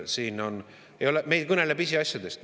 Me ei kõnele siin pisiasjadest.